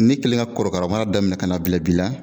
Ne kɛlen ka korokara mara daminɛ ka n'a bila bi la